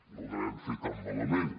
no ho devem fer tan malament